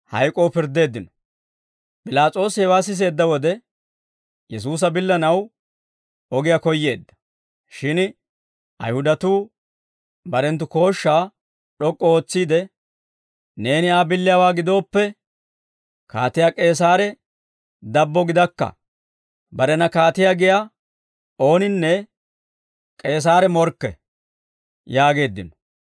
P'ilaas'oosi hewaa siseedda wode, Yesuusa billanaw ogiyaa koyyeedda; shin Ayihudatuu barenttu kooshshaa d'ok'k'u ootsiide, «Neeni Aa billiyaawaa gidooppe, Kaatiyaa K'eesaare dabbo gidakka! Barena kaatiyaa giyaa ooninne K'eesaare morkke!» yaageeddino.